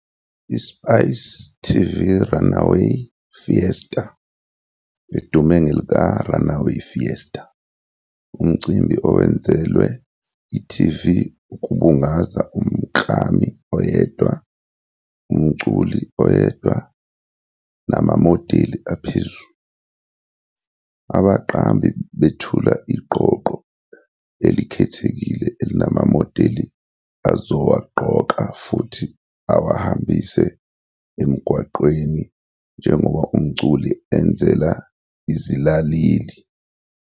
ISpice TV Runway Fiesta, edume ngelika "Runway Fiesta" umcimbi owenzelwe i-TV ukubungaza umklami oyedwa, umculi oyedwa namamodeli aphezulu. Abaqambi bethule iqoqo elikhethekile elinamamodeli azowagqoka futhi awahambise emgwaqweni njengoba umculi enzela izilaleli.